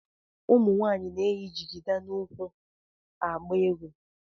Ụmụ nwaanyị na-eyi jigida n'ukwu. agba egwu.